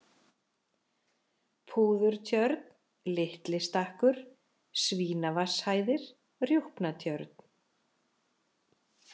Púðurtjörn, Litli-Stakkur, Svínavatnshæðir, Rjúpnatjörn